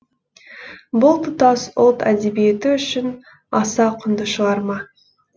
бұл тұтас ұлт әдебиеті үшін аса құнды шығарма